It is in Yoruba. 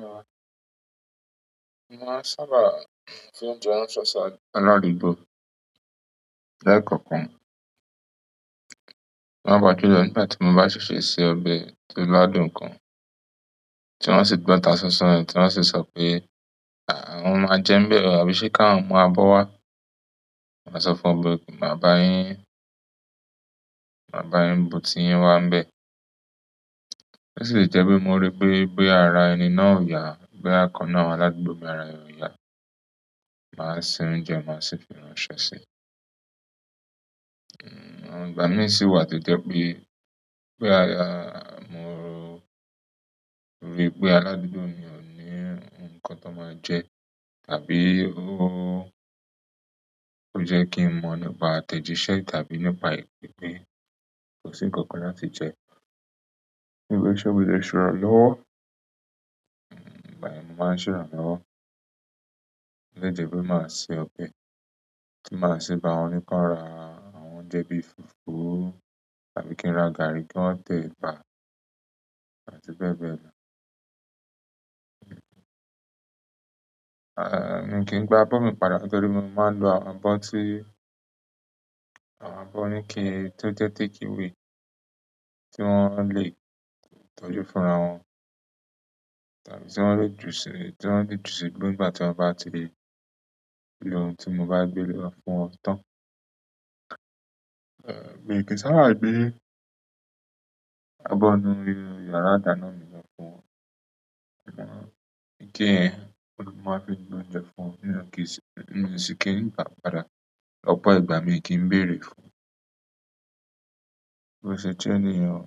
Mo máa n sábà se oúnjẹ ránṣẹ́ sí aládùúgbò lẹ́ẹ̀kọ̀kan. Pàápàá jùlọ nígbà tí mo bá ṣèṣe se ọbẹ̀ tó lá dùn gan, tí wọ́n sì gbọ́ tasánsán ẹ̀, tí wọ́n sì sọ pé àwọn máa jẹ́ n bẹ̀ o àbí ṣe kí àwọn mú abọ́ wá. Màá sọ fún wọn pé o kí máa bá yín, máa bá yín bu tí yín wà ń bẹ. Ó sì lè jẹ́ pé mo rí pé, pé ara ẹni náà ò yá, bóyá ìkan nínú àwọn aládùúgbò mi ara rẹ̀ ò yá. Màá se oúnjẹ, màá sì fi ránṣẹ́ sí. Hmm, ìgbà mi sì wà tó jẹ́ pé, pé ara, mo rí pé aládùúgbò mi ò ní nǹkan tó máa jẹ tàbí ó, ó jẹ́ kí n mọ nípa àtẹ̀jíṣẹ́ tàbí nípa ìpè pe kòsí ǹkankan láti jẹ. Níbi iṣẹ́ wo lẹ ṣe ìrànlọ́wọ́, hmm ìgbà yẹ̀n mo máa ń ṣòro lọ́wọ́. Ó lè jẹ́ pé màá se ọbẹ̀ tí màá sì bá wọn ní kán ra àwọn oúnjẹ bí i fùfú àbí kí n ra gàrí kí wọ́n tẹ̀ ẹ̀bà àti bẹ́ẹ̀ bẹ́ẹ̀ lọ. Aah, mi kì í n gbá abọ́ mi padà nítorí mo máa ń lo àwọn abọ́ tí, àwọn abọ́ oní ike, tó jẹ́ takeaway tí wọ́n lè tọ́jú fúnra wọn. Tàbí tí wọ́n le jù sí, tí wọ́n le jù sí igbó nígbà tí wọ́n bá ti lè lo ohun tí mo bá gbé lọ fún wọn tán. Aa mí kìí ń sábà gbé àbọ̀ inú yàrá ìdáná mi lọ fún wọn, ike yẹn òhun ní mo máa fi ń gbé oúnjẹ fún wọn, mi ò kì sí miì sì kí ń gbàá padà, lọ́pọ̀ ìgbà miì kì ń béèrè rẹ̀ bí ó ṣe jẹ́ ni yẹn o,